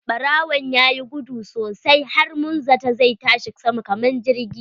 Ɓarawon yayi guduwa sosai har mun zata zai tashi sama kamar jirgi.